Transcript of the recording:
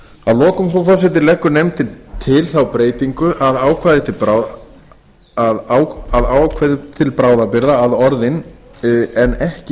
að lokum leggur nefndin til þá breytingu á ákvæði til bráðabirgða að orðin en ekki